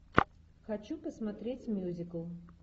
хочу посмотреть мюзикл